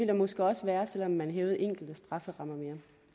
der måske også være selv om man hævede enkelte strafferammer mere